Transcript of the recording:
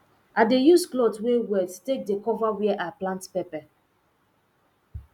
i dey use cloth wey wet take dey cover were i plant pepper